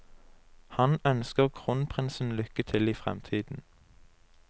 Han ønsker kronprinsen lykke til i fremtiden.